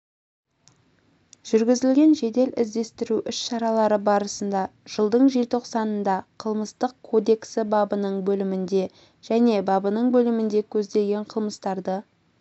жүргізілген жедел іздестіру іс-шаралары барысында жылдың желтоқсанында қылмыстық кодексі бабының бөлімінде және бабының бөлімінде көзделген қылмыстарды